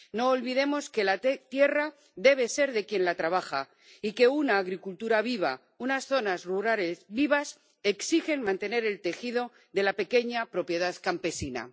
No olvidemos que la tierra debe ser de quien la trabaja y que una agricultura viva, unas zonas rurales vivas exigen mantener el tejido de la pequeña propiedad campesina.